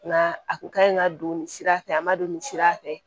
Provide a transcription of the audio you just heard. Nga a kun ka ɲi ka don nin sira fɛ a ma don nin sira fɛ